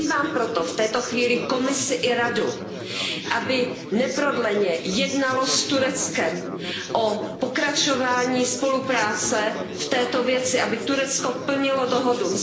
Vyzývám proto v této chvíli Komisi i Radu, aby neprodleně jednaly s Tureckem o pokračování spolupráce v této věci, aby Turecko plnilo dohodu.